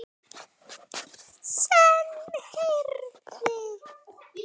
Senn heyrði